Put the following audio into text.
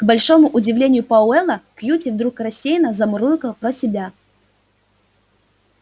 к большому удивлению пауэлла кьюти вдруг рассеянно замурлыкал про себя